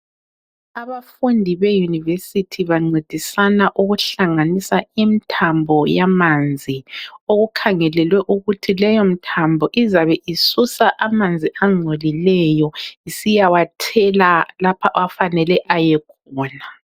Abafundi beUniversity bancedisana ukuhlanganisa imithambo yamanzi. Okukhangelelwe ukuthi leyo mithambo izabe isusa amanzi angcolileyo isiyawathela lapho afanele ayekhona.